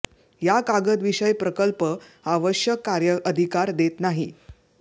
या कागद विषय प्रकल्प आवश्यक कार्य अधिकार देत नाही